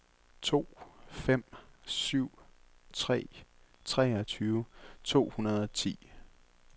to fem syv tre treogtyve to hundrede og ti